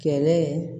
Kɛlɛ